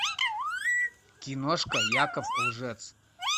киношка яков лжец